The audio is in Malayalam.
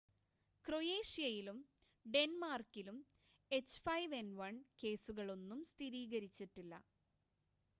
ക്രൊയേഷ്യയിലും ഡെൻമാർക്കിലും എച്ച്5എൻ1 കേസുകളൊന്നും സ്ഥിരീകരിച്ചിട്ടില്ല